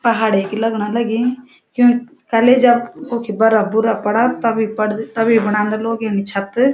पहाड़े क लगण लगीं क्यूं कलेजक कुखि बर्फ-बुरफ पड़द तबि पडदी तबी बणांदा लोग यनि छत।